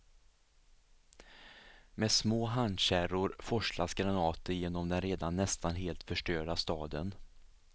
Med små handkärror forslas granater genom den redan nästan helt förstörda staden.